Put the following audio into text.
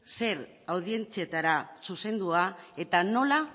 zer audientzietara zuzendua eta nola